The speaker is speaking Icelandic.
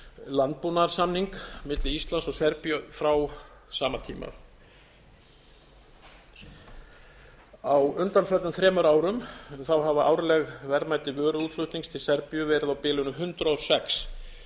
landbúnaðarsamning milli íslands og serbíu frá sama tíma á undanförnum þremur árum hafa árleg verðmæti vöruútflutnings til serbíu verið á bilinu hundrað og sex